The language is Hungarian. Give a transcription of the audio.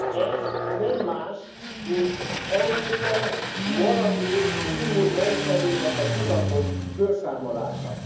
Ez nem más, mint Európa maradék immunrendszerének a tudatos fölszámolása.